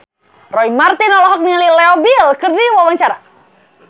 Roy Marten olohok ningali Leo Bill keur diwawancara